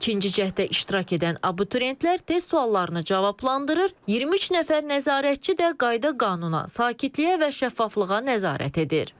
İkinci cəhdə iştirak edən abituriyentlər test suallarını cavablandırır, 23 nəfər nəzarətçi də qayda-qanuna, sakitliyə və şəffaflığa nəzarət edir.